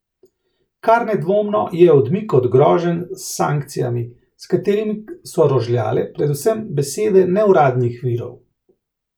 Kar nedvomno je odmik od groženj s sankcijami, s katerimi so rožljale predvsem besede neuradnih virov.